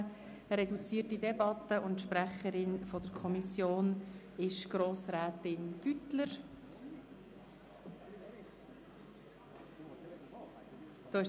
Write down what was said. Wir führen eine reduzierte Debatte, und die Kommissionssprecherin ist Grossrätin Beutler.